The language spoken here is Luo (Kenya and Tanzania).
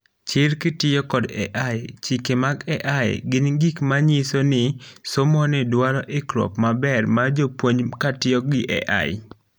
Chir kitiyo kod AI ,chike mag AI gin gik manyiso ni somoni duaro ikruok maber mar jopuonj katiyo gi AI